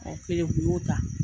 Ɔ kɛlen u y'o ta